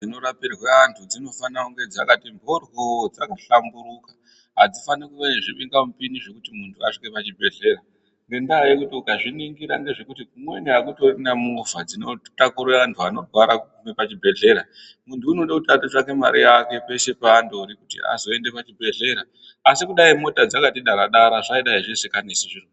Ndau dzinorapirwa antu dzinofana dzakati mboryo dzakahlamburuka. Adzifani kuva zvibingamupini kuti muntu asvike pachibhehlera ngenda yekuti ukazviningira kumweni akutorina movha dzinotakura antu anorwara kuguma pachibhehlera. Unode kuti andotsvake mare peshe kuti azoende pachibhehlera asi kudai mota dzakati Dara Dara zvingadai zvisinganesi.